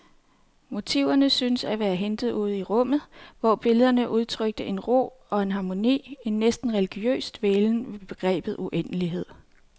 Motiverne syntes at være hentet ude i rummet, hvor billederne udtrykte en ro og en harmoni, en næsten religiøs dvælen ved begrebet uendelighed.